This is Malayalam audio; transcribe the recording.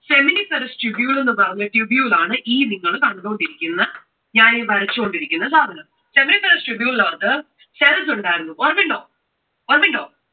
seminiferous tubule എന്ന് പറഞ്ഞ tubule ആണ് ഈ നിങൾ കണ്ടുകൊണ്ടിരിക്കുന്ന, ഞാൻ ഈ വരച്ചുകൊണ്ടിരിക്കുന്ന സാധനം. seminiferous tubule ന് അകത്ത് cells ഉണ്ടായിരുന്നു. ഓർമ്മയുണ്ടോ?